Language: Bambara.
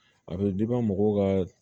A bɛ mɔgɔw ka